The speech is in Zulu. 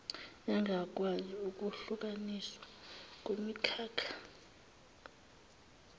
engakwazi ukuhlukaniswa kumikhakha